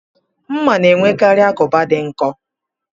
Mma na-enwekarị agụba dị nkọ